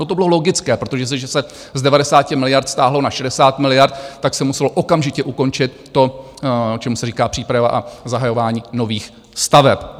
No, to bylo logické, protože jestliže se z 90 miliard stáhlo na 60 miliard, tak se muselo okamžitě ukončit to, čemu se říká příprava a zahajování nových staveb.